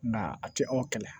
Nka a tɛ aw kɛlɛ